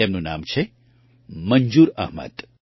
તેમનું નામ છે મંજૂર અહમદ